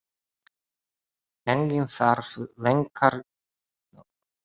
Enginn þarf lengur að velkjast í vafa um það.